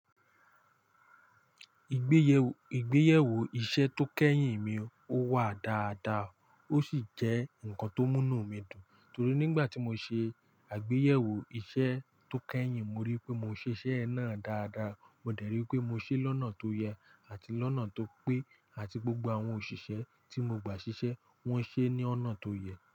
Ìgbéyèwò iṣẹ́ tó kẹ́yìn mi ó wà dáadáa, ó sì jẹ́ ǹkan tó mú nu mi dùn torí nígbà tí mo ṣe àgbéyẹ̀wò iṣẹ́ tó kẹ́yìn, mo rí pé mo ṣe iṣẹ́ náà dáadáa, mo dẹ̀ rí pé mo ṣe é lọ́nà tó yẹ àti lọ́nà tó pé àti gbogbo àwọn òṣìṣẹ́ tí mo gba ṣiṣẹ́, wọ́n ṣe é ní ọ̀nà tó yẹ.